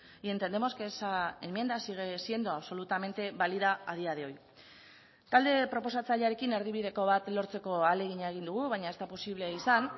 y entendemos que esa enmienda sigue siendo absolutamente válida a día de hoy talde proposatzailearekin erdibideko bat lortzeko ahalegina egin dugu baina ez da posible izan